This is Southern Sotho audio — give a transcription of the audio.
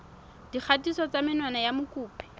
dikgatiso tsa menwana ya mokopi